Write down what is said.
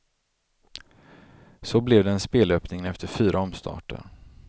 Så blev den spelöppningen efter fyra omstarter.